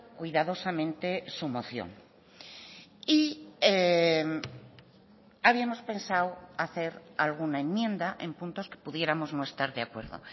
cuidadosamente su moción y habíamos pensado hacer alguna enmienda en puntos que pudiéramos no estar de acuerdo